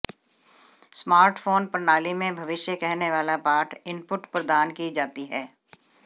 smart phone प्रणाली में भविष्य कहनेवाला पाठ इनपुट प्रदान की जाती है